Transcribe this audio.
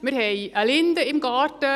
Wir haben eine Linde im Garten.